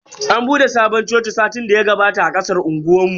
An bude sabon coci satin daya gabata a kasan unguwar mu.